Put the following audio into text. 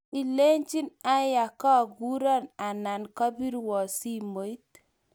Lechin aya koguron anan kopirwo simo.